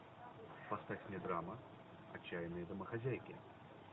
поставь мне драма отчаянные домохозяйки